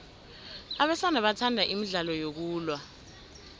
abesana bathanda imidlalo yokulwa